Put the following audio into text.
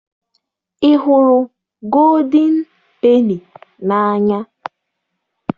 Ị hụrụ gooldin peni n'anya?